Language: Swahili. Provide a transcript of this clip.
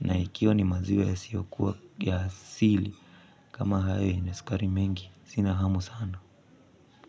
Na ikiwa ni maziwe yasiyokuwa ya asili kama hayo yenye sukari mingi, sina hamu sana.